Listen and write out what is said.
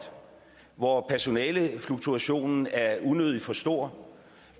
hvor personalefluktuationen er unødig stor